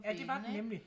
Ja det var den nemlig